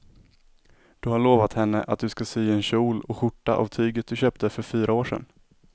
Du har lovat henne att du ska sy en kjol och skjorta av tyget du köpte för fyra år sedan.